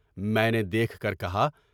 میں نے دیکھ کر کہا: